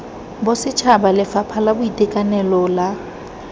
bosetšhaba lefapha la boitekanelo la